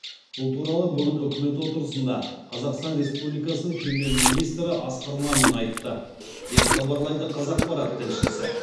бұл туралы бүгін үкімет отырысында қазақстан республикасының премьер министрі асқар мамин айтты деп хабарлайды қазақпарат тілшісі